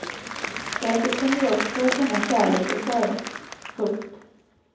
Säkert kunde de också känna kärlek och sorg. punkt